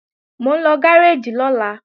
Mò ń lọ gáréèjì lọ́la